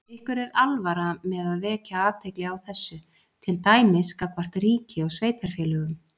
Ykkur er alvara með að vekja athygli á þessu, til dæmis gagnvart ríki og sveitarfélögum?